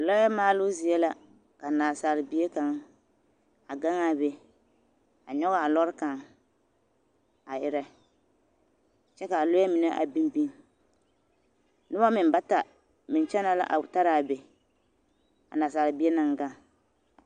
Lɔɛ maaloo zie la ka naasaalbie kaŋ a gaŋ a be a nyɔge a lɔre kaŋ a erɛ kyɛ k'a lɔɛ mine a biŋ biŋ noba meŋ bata meŋ kyɛnɛ la a tara a be a naasaalbie naŋ gaŋ.